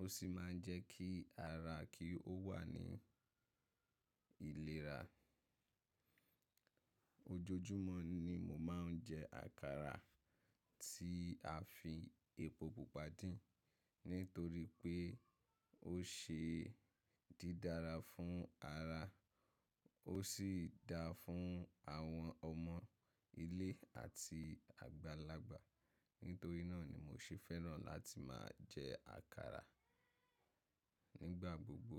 ó sì máa ń jẹ́ kí ara kí ó wà ní ìlera. Ojoojúmọ́ ni mo máa ń jẹ àkàrà tí a fi epo Pupa dín nítorí pé ó ṣe é dí dára fún ara, ó sì da fún àwọn ọmọ ilé àti àgbàlagbà. Nítorí náà ni mo ṣe fẹ́ràn láti máa jẹ àkàrà nígbà gbogbo.